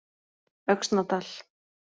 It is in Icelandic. Öxnadal